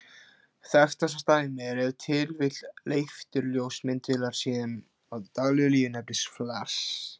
Þekktasta dæmið er ef til vill leifturljós myndavélar, sem í daglegu tali nefnist flass.